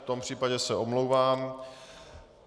V tom případě se omlouvám.